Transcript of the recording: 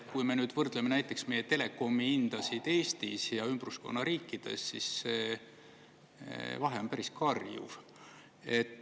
Kui me nüüd võrdleme näiteks meie telekomihindasid Eestis ja ümbruskonna riikides, siis vahe on päris karjuv.